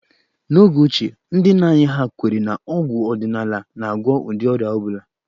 N'oge ochie, ndị nna anyị ha kwere na ọgwụ ọdịnala na-agwọ ụdị ọrịa ọ bụla